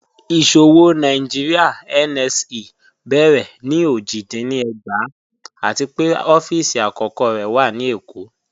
Iṣowo Nàìjíríà (NSE) bẹ̀rẹ̀ ni ojì dín ní ẹ̀gbàá àti pẹ̀ ọ̀fíìsì akọ̀kọ̀ rẹ̀ wà ni Ékó.